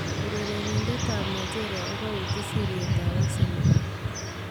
Urerenindet ab Nigeria kokauuchi sirityeet ab Arsenal